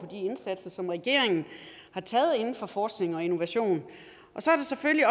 indsatser som regeringen har taget inden for forskning og innovation og så er det selvfølgelig